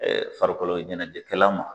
Ɛɛ farikoloɲɛnɛjɛkɛla ma